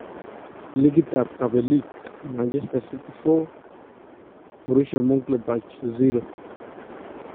Likitab kabeliik : Manchester city 4-0 B M 'gladbach